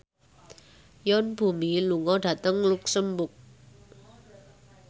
Yoon Bomi lunga dhateng luxemburg